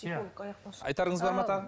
айтарыңыз бар ма тағы